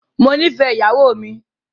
Mó nìfẹ ìyàwó mi.